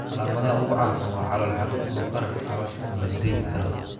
Calaamadaha ugu caansan waa calool xanuun ama bararka caloosha oo la dareemi karo.